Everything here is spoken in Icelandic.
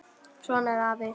Svona er afi.